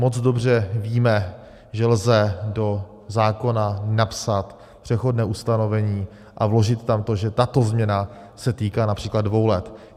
Moc dobře víme, že lze do zákona napsat přechodné ustanovení a vložit tam to, že tato změna se týká například dvou let.